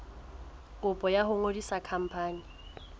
kopo ya ho ngodisa khampani